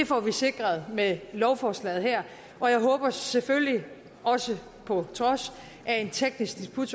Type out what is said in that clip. får vi sikret med lovforslaget her og jeg håber selvfølgelig også på trods af en teknisk disput